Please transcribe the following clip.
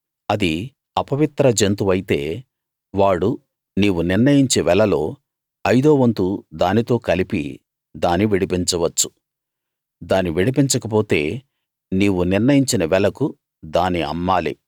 అది అపవిత్ర జంతువైతే వాడు నీవు నిర్ణయించే వెలలో ఐదో వంతు దానితో కలిపి దాని విడిపించవచ్చు దాని విడిపించకపోతే నీవు నిర్ణయించిన వెలకు దాని అమ్మాలి